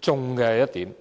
中要害的一點。